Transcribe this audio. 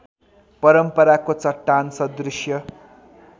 परम्पराको चट्टान सदृश्य